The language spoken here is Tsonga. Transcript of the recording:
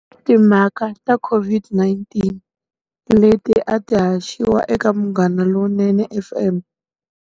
Timhaka ta COVID-19, leti a ti haxiwa eka Munghana Lonene FM.